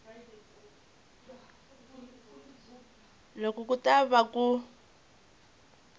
loko ku ta va ku